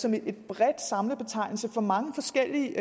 som en bred samlebetegnelse for mange forskellige